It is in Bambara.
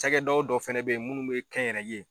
Cakɛ daw dɔ fɛnɛ be yen minnu be kɛnyɛrɛ ye